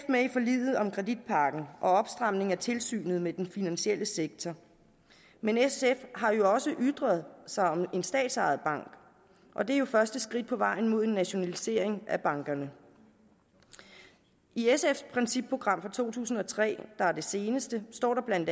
med i forliget om kreditpakken og opstramningen af tilsynet med den finansielle sektor men sf har jo også ytret sig om en statsejet bank og det er første skridt på vejen mod en nationalisering af bankerne i sfs principprogram fra to tusind og tre der er det seneste står der bla